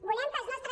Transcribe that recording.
volem que els nostres